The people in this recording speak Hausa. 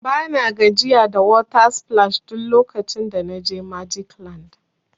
Bana gajiya da water splash duk lokacin da na je magic land.